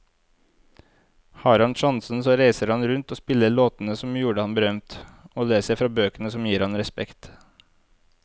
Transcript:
Har han sjansen så reiser han rundt og spiller låtene som gjorde ham berømt, og leser fra bøkene som gir ham respekt.